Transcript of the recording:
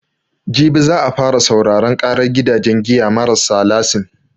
Jibi za a fara sauraran ƙarar gidajen giya marassa lasin.